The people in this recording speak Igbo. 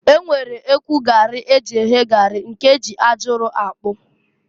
E nwere ekwu gari e ji eye gari, nke e ji aja ụrọ akpụ.